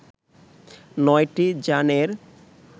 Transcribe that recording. নয়টি যানের